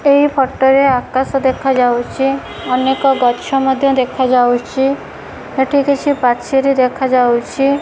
ଏଇ ଫଟ ରେ ଆକାଶ ଦେଖାଯାଉଛି ଅନେକ ଗଛ ମଧ୍ୟ ଦେଖାଯାଉଛି ଏଠି କିଛି ପାଚେରୀ ଦେଖାଯାଉଛି।